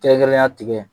Kɛrɛnkɛrɛnnenya tigɛ